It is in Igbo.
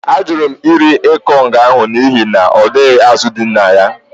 Ajụrụ m iri ikong ahụ n’ihi na ọ dịghị azụ̀ dị na ya